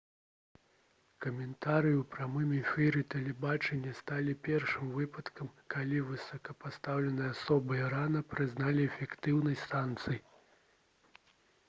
каментарыі ў прамым эфіры тэлебачання сталі першым выпадкам калі высокапастаўленыя асобы ірана прызналі эфектыўнасць санкцый